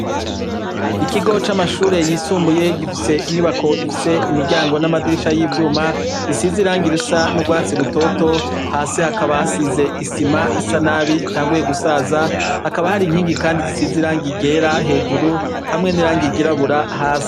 Ikigo c'amashure y'isumbuye gifise inyubako ifise imiryango n'amadirisha y'ivyuma, bisize irangi risa n'urwatsi rutoto, hasi hakaba hasize isima isa nabi utanguye gusaza, hakaba hari inkingi Kandi zisize irangi ryera hejuru hamwe n'irangi ry'irabura hasi.